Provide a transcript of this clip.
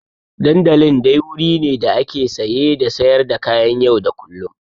Dandalin dai wuri ne da ake saye da sayar da kayan yau da kullum.